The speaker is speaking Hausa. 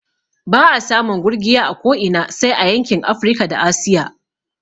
Ba'a samun gurgiya a ko ina sai a yankin Afrika da Asiya